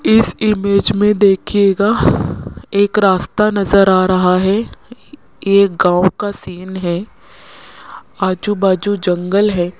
इस इमेज में देखिएगा एक रास्ता नजर आ रहा है ये एक गांव का सीन है आजू बाजू जंगल है।